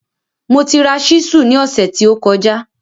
Mo ti ra ṣísù ní ọ̀sẹ̀ tí ó kọjá